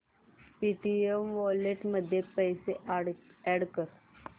Paytm wallet मध्ये पैसे add कर